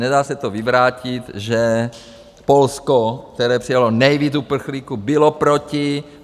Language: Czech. Nedá se to vyvrátit, že Polsko, které přijalo nejvíc uprchlíků, bylo proti.